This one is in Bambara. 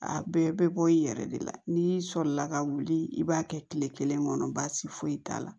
A bɛɛ bɛ bɔ i yɛrɛ de la n'i sɔlila ka wuli i b'a kɛ kile kelen kɔnɔ baasi foyi t'a la